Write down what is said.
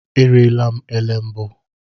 Eriela m elé mbụ.